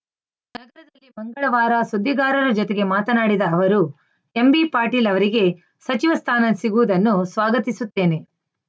ನಗರದಲ್ಲಿ ಮಂಗಳವಾರ ಸುದ್ದಿಗಾರರ ಜೊತೆಗೆ ಮಾತನಾಡಿದ ಅವರು ಎಂಬಿಪಾಟೀಲ್‌ ಅವರಿಗೆ ಸಚಿವ ಸ್ಥಾನ ಸಿಗುವುದನ್ನು ಸ್ವಾಗತಿಸುತ್ತೇನೆ